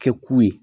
Kɛ ku ye